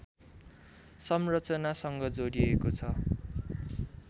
संरचनासँग जोडिएको छ